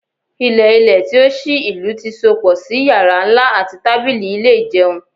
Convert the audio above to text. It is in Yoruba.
Ilẹ-ilẹ ti o ṣii ilu ti sopọ si yara nla ati tabili ile ijeun